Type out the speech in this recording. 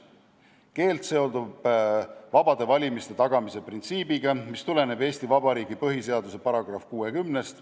See keeld seondub vabade valimiste tagamise printsiibiga, mis tuleneb Eesti Vabariigi põhiseaduse §-st 60.